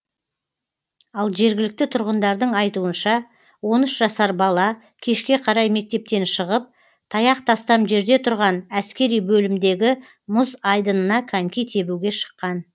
ал жергілікті тұрғындардың айтуынша он үш жасар бала кешке қарай мектептен шығып таяқ тастам жерде тұрған әскери бөлімдегі мұз айдынына коньки тебуге шыққан